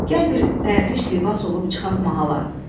Gəl bir dərviş libas olub çıxaq mahala.